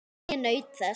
En ég naut þess.